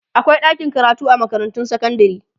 akwai ɗakin karatu a makarantun sekandare